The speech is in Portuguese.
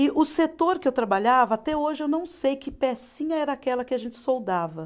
E o setor que eu trabalhava, até hoje eu não sei que pecinha era aquela que a gente soldava.